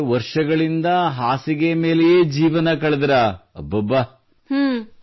7 ವರ್ಷಗಳಿಂದ ಹಾಸಿಗೆ ಮೇಲೆಯೇ ಜೀವನ ಕಳೆದಿರಾ ಅಬ್ಬಬ್ಬಾ